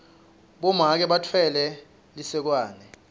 bomake batfwele lisekwane